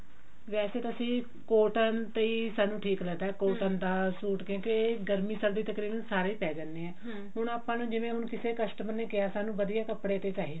ਵੇਸੇ ਤਾਂ ਅਸੀਂ cotton ਤੇ ਸਾਨੂੰ ਠੀਕ ਰਹਿੰਦਾ ਦਾ ਸੂਟ ਕਿਉਂਕਿ ਗਰਮੀ ਸਰਦੀ ਚ ਤਕਰੀਬਨ ਸਾਰੇ ਹੀ ਪੈ ਜਾਂਦੇ ਆ ਆਪਾਂ ਨੂੰ ਜਿਵੇਂ ਕਿਸੇ customer ਨੇ ਕਿਹਾ ਸਨੁਉਣ ਵਧੀਆ ਕੱਪੜੇ ਤੇ ਚਾਹੀਦਾ